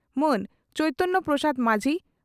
ᱢᱟᱹᱱ ᱪᱚᱭᱛᱚᱱᱭᱚ ᱯᱨᱚᱥᱟᱫᱽ ᱢᱟᱹᱡᱷᱤ